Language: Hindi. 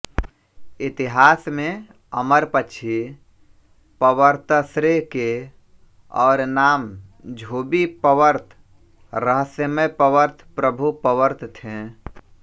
इतिहास में अमरपक्षी पवर्तश्रे के और नाम झूबी पवर्त रहस्यमय पवर्त प्रभु पवर्त थे